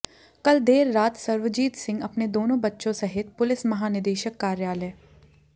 कल देर रात सर्वजीत सिंह अपने दोनों बच्चों सहित पुलिस महानिदेशक कार्यालय